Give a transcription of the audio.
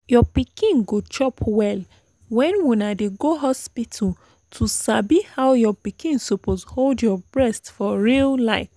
your pikin go chop well when una dey go hospital to sabi how your pikin suppose hold your breast for real like